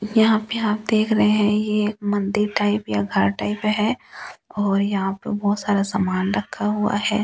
यहां पे आप देख रहे हैं ये मंदिर टाइप या घर टाइप है और यहां पर बहुत सारा सामान रखा हुआ है।